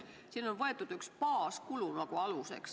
Siin on võetud aluseks teatud baaskulu.